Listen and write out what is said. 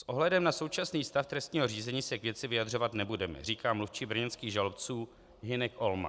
S ohledem na současný stav trestního řízení se k věci vyjadřovat nebudeme, říká mluvčí brněnských žalobců Hynek Olma.